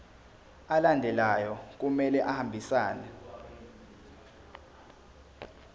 alandelayo kumele ahambisane